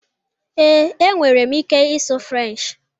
Ee, e nwere m ike ịsụ Frenchị.